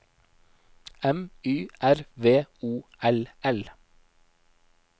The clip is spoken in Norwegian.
M Y R V O L L